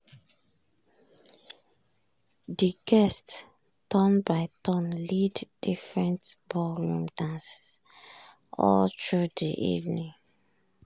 de guest turn by turn lead different ballroom dances all through de evening.